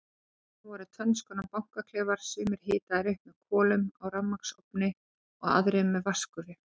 Á staðnum voru tvennskonar baðklefar, sumir hitaðir upp með kolum á rafmagnsofni, aðrir með vatnsgufu.